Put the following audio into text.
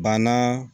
Banna